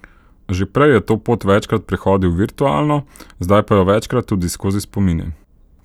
Že prej je to pot večkrat prehodil virtualno, zdaj pa jo večkrat tudi skozi spomine.